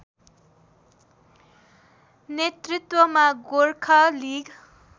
नेतृत्वमा गोरखा लिग